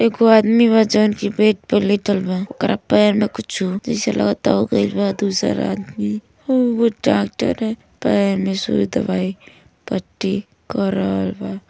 एगो आदमी बा जउन की बेड पे लेटल बा। ओकरा पैर में कुछु जैसे लगता हो गइल बा। दूसर आदमी उ डाक्टर है। पैर में सुई दवाई पट्टी कर रहल बा।